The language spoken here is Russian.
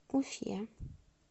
уфе